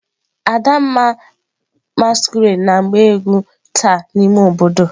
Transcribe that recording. Adamma masquerade ga agba egwu taa n'ime obodo.